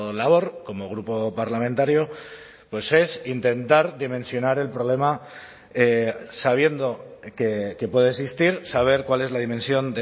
labor como grupo parlamentario pues es intentar dimensionar el problema sabiendo que puede existir saber cuál es la dimensión